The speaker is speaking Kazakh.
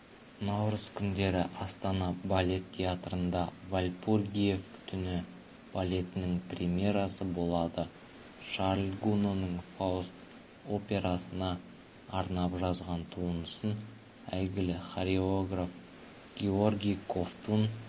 наурыз күндері астана балет театрында вальпургиев түні балетінің премьерасы болады шарль гуноның фауст операсына арнап жазған туындысын әйгілі хореограф георгий ковтун